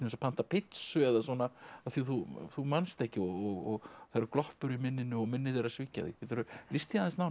að panta pizzu eða svona af því þú þú manst ekki og það eru gloppur í minninu og minnið er að svíkja þig geturðu lýst því aðeins nánar